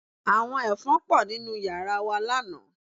Àwọn Ẹ̀fọn pọ̀ nínú yàrá wa lánàá